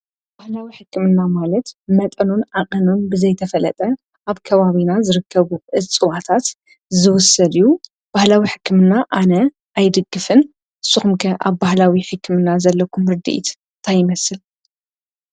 ባህላዊ ሕክምና ማለት መጠኑን ኣቐኑን ብዘይተፈለጠ ኣብ ከዋቢና ዝርከቡ ኣፅዋታት ዝውሰድዩ ባህላዊ ሕክምና ኣነ ኣይድግፍን ስኹምከ ኣብ ባሕላዊ ሒክምና ዘለኩም ርድኢትታይመስል።